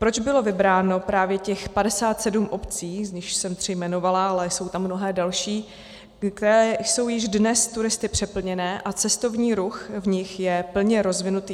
Proč bylo vybráno právě těch 57 obcí, z nichž jsem tři jmenovala, ale jsou tam mnohé další, které jsou již dnes turisty přeplněné a cestovní ruch v nich je plně rozvinutý?